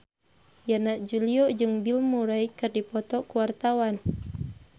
Yana Julio jeung Bill Murray keur dipoto ku wartawan